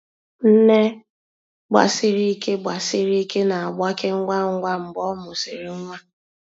Nne gbasiri ike gbasiri ike na-agbake ngwa ngwa mgbe ọ mụsịrị nwa.